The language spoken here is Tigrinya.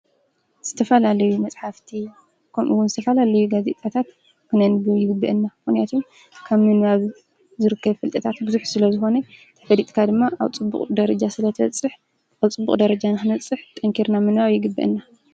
ዝተፈላለዩ መፅሓፍቲ ከምኡወን ዝተፈላለዩ ጋዜጣታት ክነንብብ ይግበአና። ምክንያቱ ካብ ምንባብ ዝርከቡ ፍልጠታት ብዙሕ ስለ ዝኾኑ ፈሊጥካ ድማ ኣብ ፅቡቅ ደረጃ ስለ እትበፅሕ ኣብ ፅቡቅ ደረጃ ንክንበፅሕ ጠንኪርና ምንባብ ይግበአና።